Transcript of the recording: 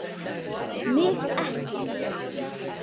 MIG EKKI!